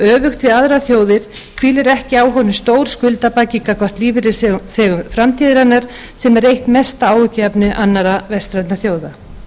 við aðrar þjóðir hvílir ekki á honum stór skuldabaggi gagnvart lífeyrisþegum framtíðarinnar sem er eitt mesta áhyggjuefni annarra vestrænna þjóða